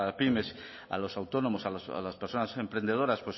pymes a los autónomos a las personas emprendedoras